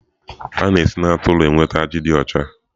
A na-esi na atụrụ enweta ajị dị ọcha.